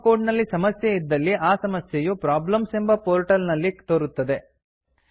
ನಮ್ಮ ಕೋಡ್ ನಲ್ಲಿ ಸಮಸ್ಯೆ ಇದ್ದಲ್ಲಿ ಆ ಸಮಸ್ಯೆಯು ಪ್ರಾಬ್ಲೆಮ್ಸ್ ಎಂಬ ಪೋರ್ಟ್ಲೆಟ್ ನಲ್ಲಿ ತೋರುತ್ತದೆ